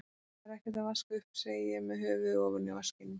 Það er ekkert að vaska upp, segi ég með höfuðið ofan í vaskinum.